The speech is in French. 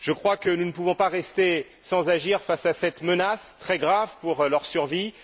Je crois que nous ne pouvons pas rester sans agir face à cette menace très grave pour leur survie.